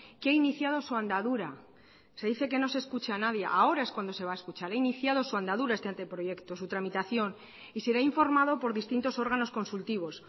que ha iniciado su andadura se dice que no se escucha a nadie ahora es cuando se va a escuchar ha iniciado su andadura este anteproyecto su tramitación y será informado por distintos órganos consultivos